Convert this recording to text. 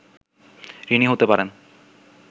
ঋণী হতে পারেন